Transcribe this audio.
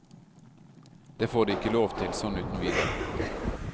Det får de ikke lov til, sånn uten videre.